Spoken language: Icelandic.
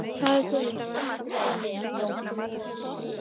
Faðir Guðmundar var Andrés Guðmundsson, sýslumaður á Felli í Kollafirði.